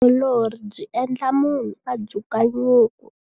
Vutiolori byi endla munhu a dzuka nyuku.